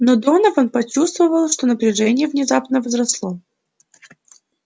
но донован почувствовал что напряжение внезапно возросло